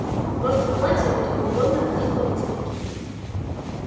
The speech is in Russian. просто в платье будет неудобно ходить по выставке